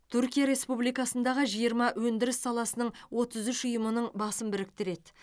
түркия республикасындағы жиырма өндіріс саласының отыз үш ұйымының басын біріктіреді